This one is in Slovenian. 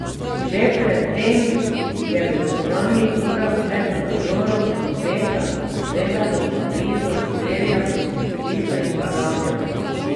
Že pred tem je v jutranjih urah med nadzorom prometa na severu Pariza streljal na policista in ga ranil.